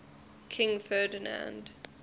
king ferdinand